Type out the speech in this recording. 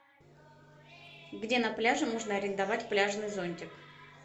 где на пляже можно арендовать пляжный зонтик